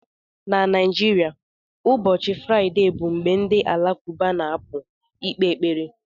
Na Naijiria, ụbọchị Fraịde bụ mgbe ndị Alakụba na-apụ ikpe ekpere